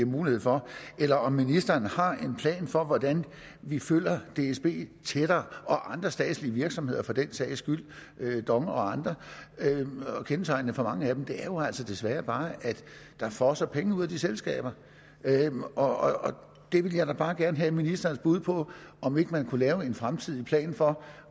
mulighed for eller om ministeren har en plan for hvordan vi følger dsb tættere og andre statslige virksomheder for den sags skyld dong og andre kendetegnende for mange af dem er jo altså desværre bare at der fosser penge ud af de selskaber og der vil jeg da bare gerne have ministerens bud på om ikke man kunne lave en fremtidig plan for